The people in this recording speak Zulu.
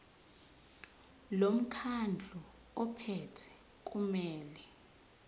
lomkhandlu ophethe kumele